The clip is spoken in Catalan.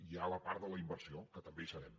hi ha la part de la inversió que també hi serem